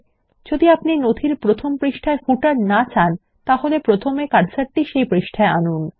যদি আপনি নথির প্রথম পৃষ্ঠায় পাদ্লেখ র না চান তাহলে প্রথমে কার্সারটি পৃষ্ঠায় আনুন